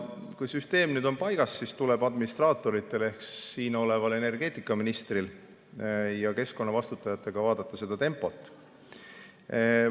Kui süsteem on paigas, siis tuleb administraatoritel ehk siin oleval energeetikaministril ja keskkonna eest vastutajatel vaadata seda tempot.